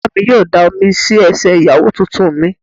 Ìyá mi yóò da omi sí ẹsẹ̀ Ìyàwó tuntun mi.